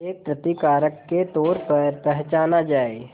एक प्रतिकारक के तौर पर पहचाना जाए